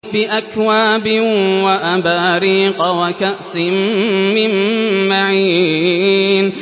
بِأَكْوَابٍ وَأَبَارِيقَ وَكَأْسٍ مِّن مَّعِينٍ